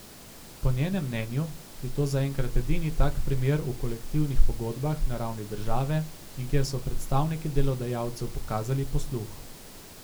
Po njenem mnenju je to zaenkrat edini tak primer v kolektivnih pogodbah na ravni države in kjer so predstavniki delodajalcev pokazali posluh.